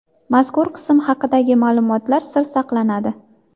Mazkur qism haqidagi ma’lumotlar sir saqlanadi.